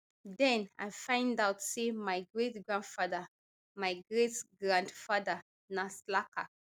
den i find out say my greatgrandfather my greatgrandfather na slacker